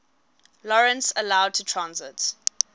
lawrence allowed transit